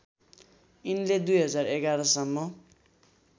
यिनले २०११ सम्म